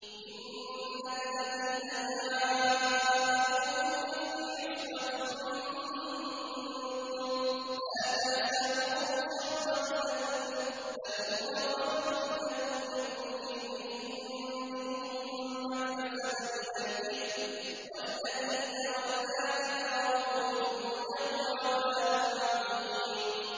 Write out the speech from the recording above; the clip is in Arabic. إِنَّ الَّذِينَ جَاءُوا بِالْإِفْكِ عُصْبَةٌ مِّنكُمْ ۚ لَا تَحْسَبُوهُ شَرًّا لَّكُم ۖ بَلْ هُوَ خَيْرٌ لَّكُمْ ۚ لِكُلِّ امْرِئٍ مِّنْهُم مَّا اكْتَسَبَ مِنَ الْإِثْمِ ۚ وَالَّذِي تَوَلَّىٰ كِبْرَهُ مِنْهُمْ لَهُ عَذَابٌ عَظِيمٌ